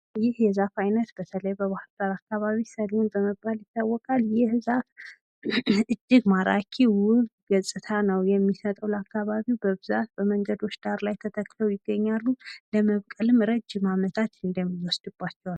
ይህ የዛፍ አይነት በተለይ በባህር ዳር አካባቢ ሰሌን በመባል ይታወቃል። ይህ ዛፍ እጂግ ማራኪ፣ ውብ ገጽታ ነው። የሚሰጠው ለአካባቢው በብዛት መንገዶች ዳር ላይ ለመብቀልም ረጂም አመታት ይወስድባቸዋል።